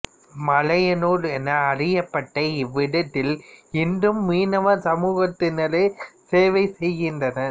மலையனூர் என அறியப்பட்ட இவ்விடத்தில் இன்றும் மீனவ சமூகத்தினரே சேவை செய்கின்றனர்